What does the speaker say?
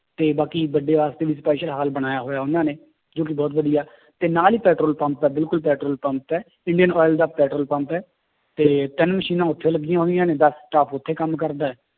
ਤੇ ਬਾਕੀ ਵੱਡਿਆਂ ਵਾਸਤੇ ਵੀ special ਹਾਲ ਬਣਾਇਆ ਹੋਇਆ ਉਹਨਾਂ ਨੇ ਜੋ ਕਿ ਬਹੁਤ ਵਧੀਆ ਤੇ ਨਾਲ ਹੀ ਪੈਟਰੋਲ ਪੰਪ ਹੈ ਬਿਲਕੁਲ ਪੈਟਰੋਲ ਪੰਪ ਹੈ ਇੰਡੀਅਨ oil ਦਾ ਪੈਟਰੋਲ ਪੰਪ ਹੈ, ਤੇ ਤਿੰਨ ਮਸ਼ੀਨਾਂ ਉੱਥੇ ਲੱਗੀਆਂ ਹੋਈਆਂ ਨੇ ਦਸ staff ਉੱਥੇ ਕੰਮ ਕਰਦਾ ਹੈ